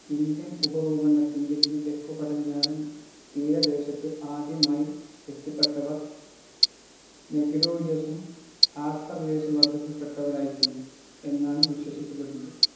Indian ഉപഭൂഖണ്ഡത്തിൻ്റെ ഈ തെക്കു പടിഞ്ഞാറൻ തീരദേശത്ത് ആദ്യമായി എത്തിപ്പെട്ടവർ നെഗ്രിറ്റോയ്ഡ് ആസ്ത്രലോയ്ഡ് വർഗ്ഗത്തിൽ പെട്ടവരായിരുന്നിരിക്കുന്നു എന്നാണ് വിശ്വസിക്കപ്പെടുന്നത്